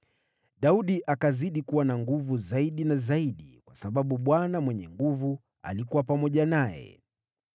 Daudi akazidi kuwa na nguvu zaidi na zaidi, kwa sababu Bwana Mwenye Nguvu Zote alikuwa pamoja naye.